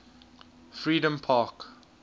freedompark